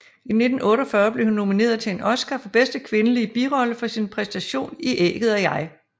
I 1948 blev hun nomineret til en Oscar for bedste kvindelige birolle for sin præstation i Ægget og jeg